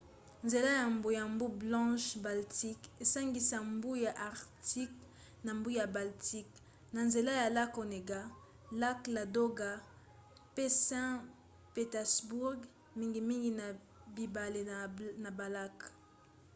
nzela ya mbu ya mbu blanche-baltique esangisaka mbu ya arctique na mbu ya baltique na nzela ya lac onega lac ladoga pe saint-pétersbourg mingimingi na bibale na balac